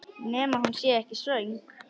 Nema hún sé ekkert svöng.